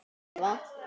Að lifa?